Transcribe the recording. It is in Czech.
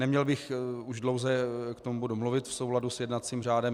Neměl bych už dlouze k tomu bodu mluvit v souladu s jednacím řádem.